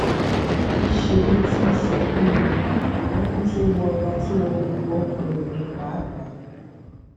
níṣẹ ló tún ń sunkún lo ẹkún tó wọra tó wọ gbogbo ọkàn rẹ ni páàpáà